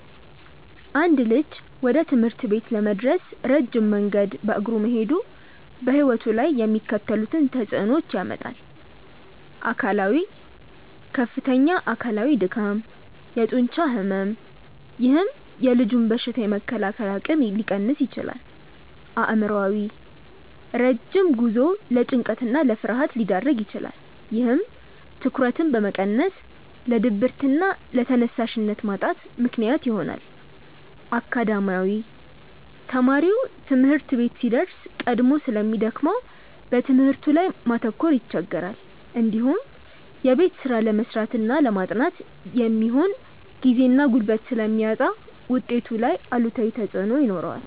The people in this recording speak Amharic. አንድ ልጅ ወደ ትምህርት ቤት ለመድረስ ረጅም መንገድ በእግሩ መሄዱ በሕይወቱ ላይ የሚከተሉትን ተጽዕኖዎች ያመጣል፦ አካላዊ፦ ከፍተኛ አካላዊ ድካም፣ የጡንቻ ሕመም፥፥ ይህም የልጁን በሽታ የመከላከል አቅም ሊቀንስ ይችላል። አእምሯዊ፦ ረጅም ጉዞው ለጭንቀትና ለፍርሃት ሊዳርግ ይችላል። ይህም ትኩረትን በመቀነስ ለድብርትና ለተነሳሽነት ማጣት ምክንያት ይሆናል። አካዳሚያዊ፦ ተማሪው ትምህርት ቤት ሲደርስ ቀድሞ ስለሚደክመው በትምህርቱ ላይ ማተኮር ይቸገራል። እንዲሁም የቤት ስራ ለመስራትና ለማጥናት የሚሆን ጊዜና ጉልበት ስለሚያጣ ውጤቱ ላይ አሉታዊ ተጽዕኖ ይኖረዋል።